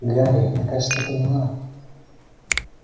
гарри я кажется поняла